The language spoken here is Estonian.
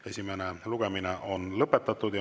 Esimene lugemine on lõpetatud.